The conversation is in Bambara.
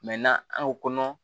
an ko ko kɔnɔ